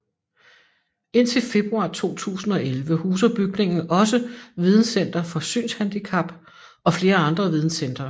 Indtil februar 2011 huser bygningen også Videncenter for Synshandicap og flere andre Videncentre